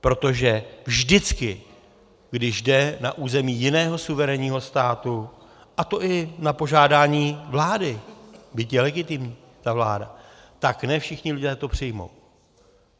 Protože vždycky, když jde na území jiného suverénního státu, a to i na požádání vlády, byť je legitimní ta vláda, tak ne všichni lidé to přijmou.